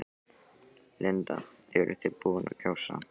Linda: Eruð þið búin að kjósa?